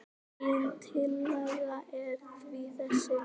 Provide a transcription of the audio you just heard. Mín tillaga er því þessi